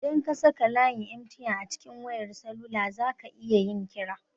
Idan ka saka layin 'MTN' a cikin wayar salula zaka iya yin kira.